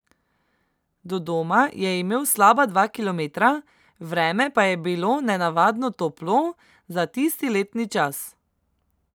Do doma je imel slaba dva kilometra, vreme pa je bilo nenavadno toplo za tisti letni čas.